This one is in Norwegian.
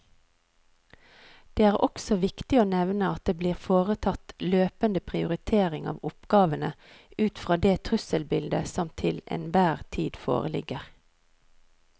Det er også viktig å nevne at det blir foretatt løpende prioritering av oppgavene ut fra det trusselbildet som til enhver tid foreligger.